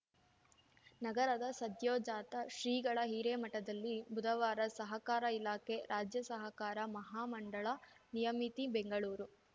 ನಗರದ ಸದ್ಯೋಜಾತ ಶ್ರೀಗಳ ಹಿರೇಮಠದಲ್ಲಿ ಬುಧವಾರ ಸಹಕಾರ ಇಲಾಖೆ ರಾಜ್ಯ ಸಹಕಾರ ಮಹಾ ಮಂಡಳ ನಿಯಮಿತಿ ಬೆಂಗಳೂರು